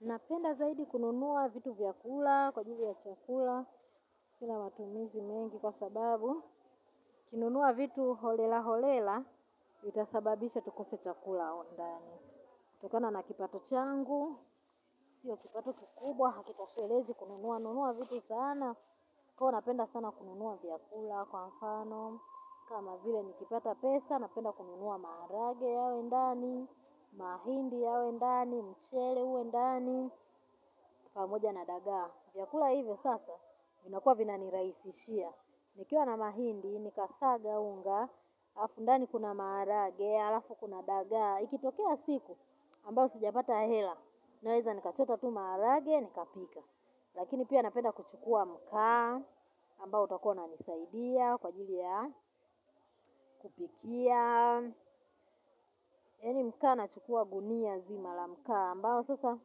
Napenda zaidi kununua vitu vya kula kwa ajili ya chakula sina matumizi mengi kwa sababu nikinunua vitu holela holela ita sababisha tukose chakula ndani. Kutokana na kipato changu sio kipato kikubwa hakitoshelezi kununua nunua vitu sana. Kwa hiyo napenda sana kununua vyakula kwa mfano kama vile nikipata pesa, napenda kununua maharage yawe ndani mahindi yawe ndani mchele uwe ndani pamoja na dagaa. Vyakula hivyo sasa vinakuwa vina nirahisishia. Nikiwa na mahindi nika saga unga halafu ndani kuna maharage halafu kuna dagaa. Ikitokea siku ambayo sijapata hela naeza nikachota tu maharage nikapika. Lakini pia napenda kuchukua mkaa ambao utakuwa unanisaidia kwa ajili ya kupikia. Yaani mkaa nachukua gunia zima la mkaa ambao sasa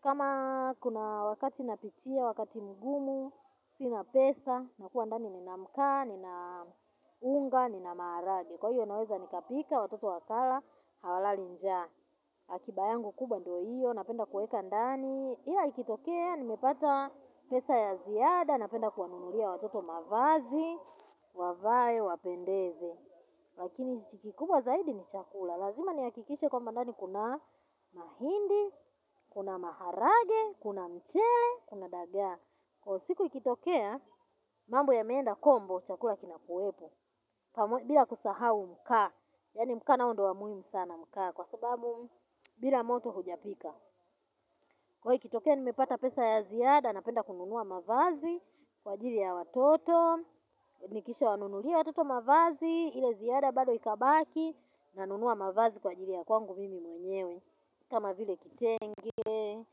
kama kuna wakati napitia wakati mgumu sina pesa nakuwa ndani nina mkaa nina unga nina maharage. Kwa hiyo naweza nika pika watoto wakala hawalali njaa. Akiba yangu kubwa ndo hiyo napenda kueka ndani. Ila ikitokea nimepata pesa ya ziada napenda kuwanunulia watoto mavazi wavae wapendeze. Lakini kikubwa zaidi ni chakula. Lazima nihakikishe kwamba ndani kuna mahindi, kuna maharage, kuna mchele, kuna dagaa. Kwa hiyo siku ikitokea, mambo yameenda kombo chakula kinakuwepo. Bila kusahau mkaa yaani mkaa nao ndo wa muhimu sana mkaa kwa sababu, bila moto hujapika. Kwa hiyo ikitokea nimepata pesa ya ziada. Napenda kununua mavazi kwa ajili ya watoto. Nikisha wanunulia watoto mavazi. Ile ziada bado ikabaki. Nanunua mavazi kwa ajili ya kwangu mimi mwenyewe. Kama vile kitenge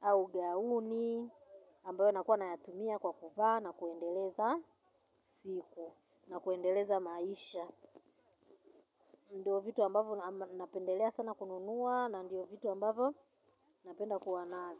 au gauni. Ambayo nakua nayatumia kwa kuvaa na kuendeleza siku. Na kuendeleza maisha. Ndo vitu ambavyo napendelea sana kununua. Na ndiyo vitu ambavyo napenda kuwa nazo.